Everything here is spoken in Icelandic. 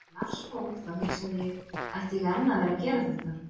Þegar Lars fór, þá hugsaði ég, ætti ég enn að vera að gera þetta?